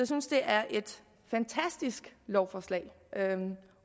synes det er et fantastisk lovforslag